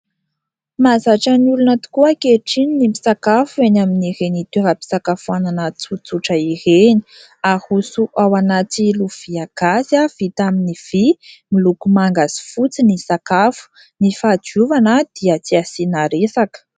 Mahazatra ny olona tokoa ankehitriny ny misakafo eny amin'ireny toeram-pisakafoanana tsotsotra ireny, haroso ao anaty lovia gasy vita amin'ny vy miloko manga sy fotsy ny sakafo, ny fahadiovana dia tsy asiana resaka.